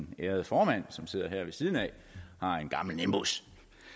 ærede formand som sidder her ved siden af en gammel nimbus